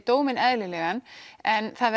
dóminn eðlilegan en það